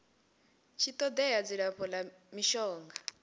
tshi todea dzilafho la mishonga